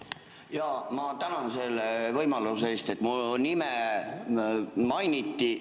Jaa, ma tänan selle võimaluse eest, et mu nime mainiti.